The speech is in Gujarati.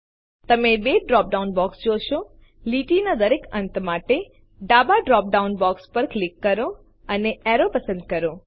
તમે બે ડ્રોપ ડાઉન બોક્સ જોશો લીટીના દરેક અંત માટે ડાબા ડ્રોપ ડાઉન બોક્સ પર ક્લિક કરો અને એરો પસંદ કરો